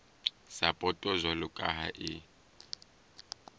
sapoto jwalo ka ha e